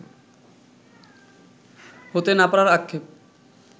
হতে না পারার আক্ষেপ